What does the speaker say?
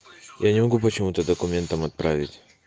я не могу почему-то документом отправить